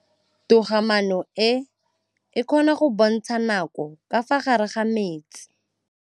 Toga-maanô e, e kgona go bontsha nakô ka fa gare ga metsi.